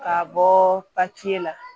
K'a bɔɔ papiye la